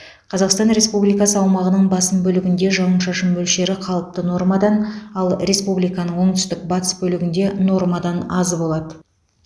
қазақстан республикасы аумағының басым бөлігінде жауын шашын мөлшері қалыпты нормадан ал республиканың оңтүстік батыс бөлігінде нормадан аз болады